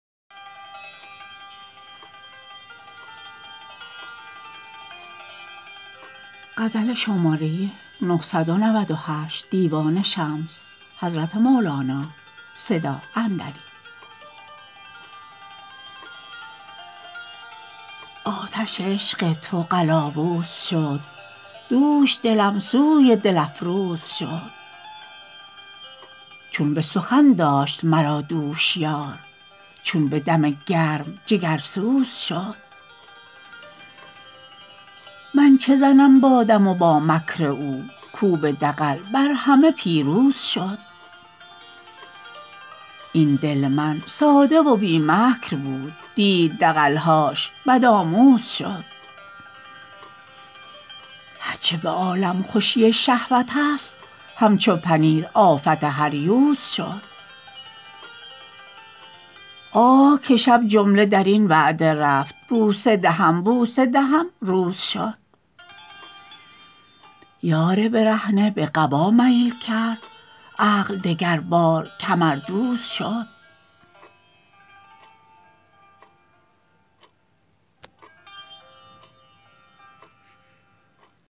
آتش عشق تو قلاووز شد دوش دلم سوی دل افروز شد چون به سخن داشت مرا دوش یار چون به دم گرم جگرسوز شد من چه زنم با دم و با مکر او کو به دغل بر همه پیروز شد این دل من ساده و بی مکر بود دید دغل هاش بدآموز شد هر چه به عالم خوشی شهوتست همچو پنیر آفت هر یوز شد آه که شب جمله در این وعده رفت بوسه دهم بوسه دهم روز شد یار برهنه به قبا میل کرد عقل دگربار کمردوز شد